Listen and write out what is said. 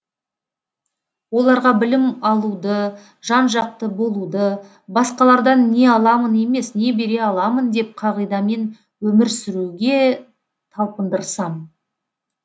оларға білім алуды жан жақты болуды басқалардан не аламын емес не бере аламын деп қағидамен өмір сүруге талпындырсам